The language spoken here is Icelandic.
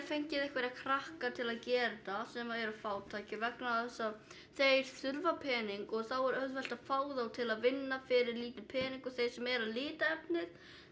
fengið einhverja krakka til að gera þetta sem eru fátækir vegna þess að þeir þurfa pening og þá er auðvelt að fá þá til að vinna fyrir lítinn pening og þeir sem eru að lita efnið